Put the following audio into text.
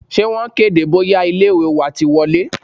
Ṣé wọn kéde bóyá ilé ìwé wa ti wọlé?